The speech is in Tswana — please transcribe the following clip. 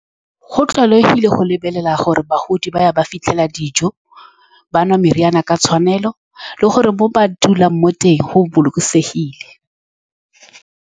Go tlwaelegile go lebelela gore bagodi ba ya, ba fitlhela dijo, ba nwa meriana ka tshwanelo, le gore mo ba dulang mo teng go bolokesegile.